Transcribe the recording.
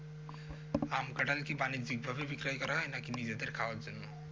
আম কাঁঠাল কি বাণিজ্যিক ভাবে বিক্রয় করা হয় নাকি নিজেদের খাওয়ার জন্য?